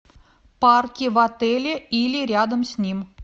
парки в отеле или рядом с ним